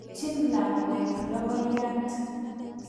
Ikochin lakwet lokoiyat.